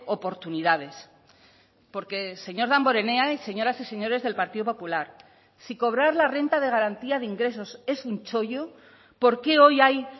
oportunidades porque señor damborenea y señoras y señores del partido popular si cobrar la renta de garantía de ingresos es un chollo por qué hoy hay